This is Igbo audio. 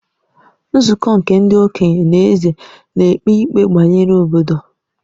Nzukọ nke ndi-okenye na Eze nēkpe ikpe bayere obodo.